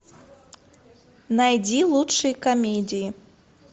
найди лучшие комедии